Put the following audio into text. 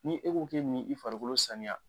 Ni e k'o ko bɛ nin i farikolo saniya.